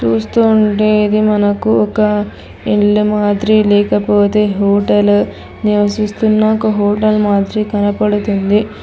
చూస్తూ ఉంటే ఇది మనకు ఒక ఇల్లు మాద్రి లేకపోతే హోటలు నివసిస్తున్న ఒక హోటల్ మాద్రి కనపడుతుంది.